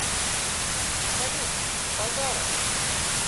салют базаров